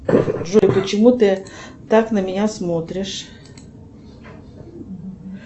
джой почему ты так на меня смотришь